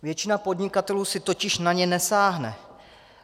Většina podnikatelů si totiž na ně nesáhne.